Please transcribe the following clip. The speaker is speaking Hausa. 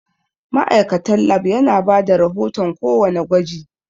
Ma'aikatan Lab yana bada rahoton ko wanna gwaji